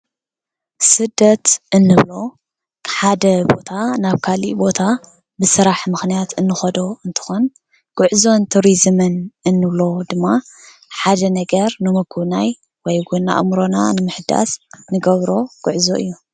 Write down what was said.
ስደት እንብሎ ካብ ሓደ ቦታ ናብ ካሊእ ቦታ ብስራሕ ምክንያት እንከዶ እንትኮን፣ ጉዕዞን ትሪዝምን እንብሎ ድማ ሓደ ነገር ንምጉብናይ ወይ እውን ኣእምሮና ንምሕዳስ እንገብሮ ጉዕዞ እዩ፡፡